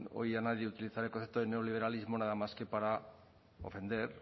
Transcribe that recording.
oí a nadie utilizar el concepto de neoliberalismo nada más que para ofender